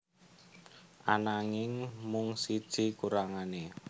Ananging mung siji kurangané